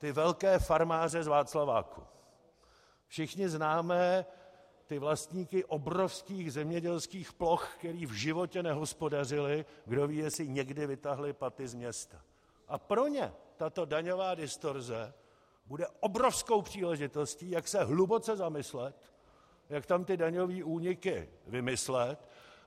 Všichni známe ty vlastníky obrovských zemědělských ploch, kteří v životě nehospodařili, kdo ví, jestli někdy vytáhli paty z města, a pro ně tato daňová distorze bude obrovskou příležitostí, jak se hluboce zamyslet, jak tam ty daňové úniky vymyslet.